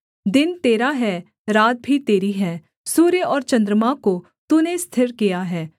दिन तेरा है रात भी तेरी है सूर्य और चन्द्रमा को तूने स्थिर किया है